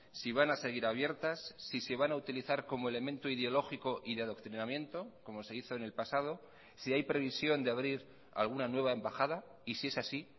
si van a seguir abiertas si se van a utilizar como elemento ideológico y de adoctrinamiento como se hizo en el pasado si hay previsión de abrir alguna nueva embajada y si es así